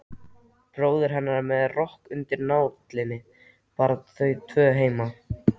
Bróðir hennar með rokk undir nálinni, bara þau tvö heima.